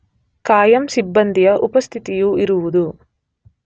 ಕಾಯಂ ಸಿಬ್ಬಂದಿಯ ಉಪಸ್ಥಿತಿಯು ಇರುವುದು